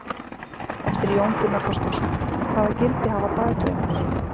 Eftir Jón Gunnar Þorsteinsson: Hvaða gildi hafa dagdraumar?